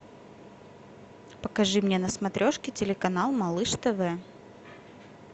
покажи мне на смотрешке телеканал малыш тв